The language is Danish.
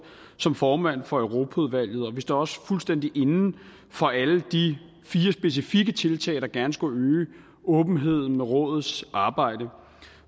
som formand for europaudvalget og vi står også fuldstændig inde for alle de fire specifikke tiltag der gerne skulle øge åbenheden om rådets arbejde